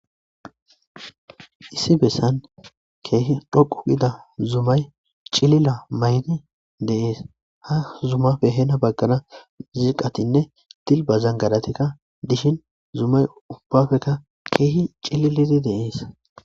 issi bessan keehi dhoqu ida zumay cilila may7di deees ha zuma behena baggana ziqatinne tilba zangaratekka dishin zumay ubbafekka keehi cililidi de7ees